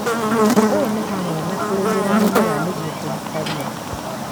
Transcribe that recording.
ũũ nĩ hamwe na kũrĩmĩra mĩmera nĩguo kũruta ria